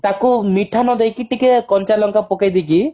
ତାକୁ ମିଠା ନ ଦେଇକି ଟିକେ କଞ୍ଚା ଲଙ୍କା ପକେଇ ଦେଇକି